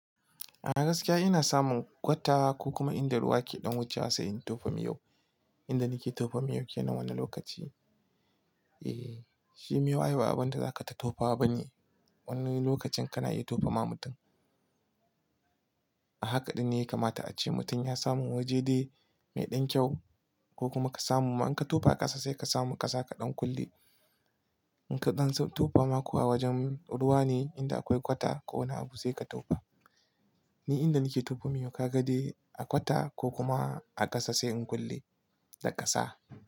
A gaskiya ina samun kwata ko kuma inda ruwa ke ɗan wucewa sai in tofa miyo. Inda nake tofa miyo ke nan wannan lokaci. Eh shi miyo ai ba abinda za ka ta tofa wa ba ne. Wani lokacin kana iya tofa ma mutum. A hakaɗin ne ya kamata a ce mutum ya samu waje dai mai ɗan kyau ko kuma ka samu. In ka tofa a ƙasa sai ka samu ƙasa kaɗan kulle. In kaɗan sai tofa ma kuwa wajen ruwa ne inda akwai kwata ko wani abu sai ka tofa. Ni inda nake tofa miyo ka ga dai a kwata ko kuma a ƙasa sai in kulle da ƙasa.